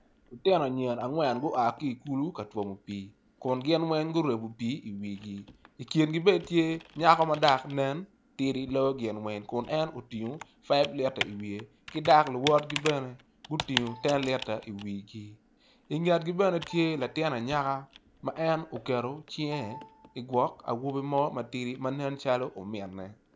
Lutino anyira angwen gua ki i kulu ka twomo pii kun gin weng guryebo pii i wigi i kingi tye nyako madok nen tidi ma otingo faiv lita i wiye ki dok luwotgi bene gutingo tenlita i wigi i ngetgi bene tye latin anyaka ma en oketo cinge i ngwok awobi mo ma nen calo ominne.